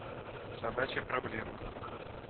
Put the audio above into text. собачья проблема